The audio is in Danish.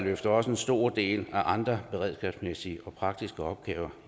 løfter også en stor del af de andre beredskabsmæssige og praktiske opgaver